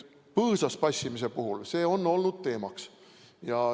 Põõsas passimine on olnud teemaks.